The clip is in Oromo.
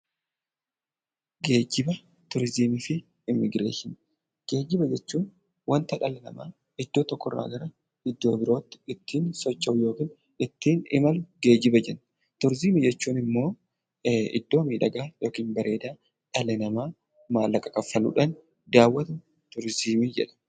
Geejjiba jechuun wanta dhalli namaa iddoo tokkorraa garaa iddoo biraatti ittiin socho'uu yookiin ittiin imalu geejjiba jenna. Turizimii jechuun immoo iddoo bareedaa dhalli namaa kaffaluudhaan daawwatudha.